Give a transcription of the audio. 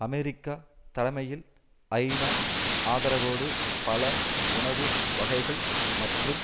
America தலைமையில் ஐநா ஆதரவோடு பல உணவு வகைகள் மற்றும்